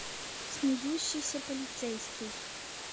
смеющийся полицейский